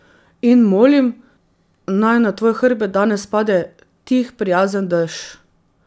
In molim, naj na tvoj hrbet danes pade tih prijazen dež.